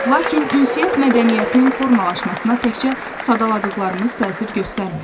Lakin ünsiyyət mədəniyyətinin formalaşmasına təkcə sadaladıqlarımız təsir göstərmir.